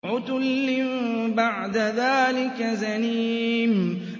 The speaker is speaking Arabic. عُتُلٍّ بَعْدَ ذَٰلِكَ زَنِيمٍ